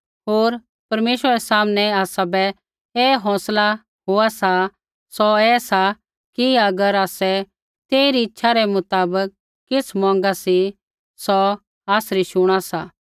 होर परमेश्वरा रै सामनै आसाबै ऐ हौंसला होआ सा सौ ऐ सा कि अगर आसै तेइरी इच्छा रै मुताबक किछ़ मौंगा सी सौ आसरी शुणा सा